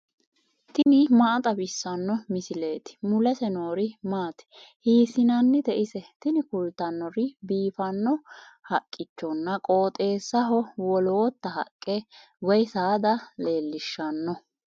tini maa xawissanno misileeti ? mulese noori maati ? hiissinannite ise ? tini kultannori biiffanno haqqichonna qooxeessaho woloota haqqe woy saada leellishshanno.